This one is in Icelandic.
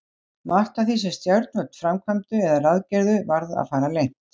Margt af því, sem stjórnvöld framkvæmdu eða ráðgerðu, varð að fara leynt.